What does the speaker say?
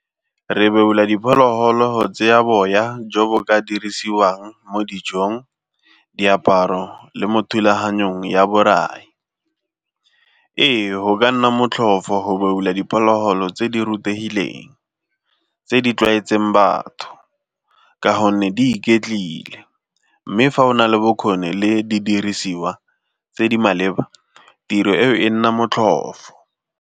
Re beola diphologolo tseya boya jo bo ka dirisiwang mo dijong, diaparo le mo thulaganyong ya borai. Ee, go ka nna motlhofo go beola diphologolo tse di rutegileng, tse di tlwaetseng batho ka gonne di iketlile mme fa o na le bokgoni le di dirisiwa tse di maleba tiro eo e nna motlhofo.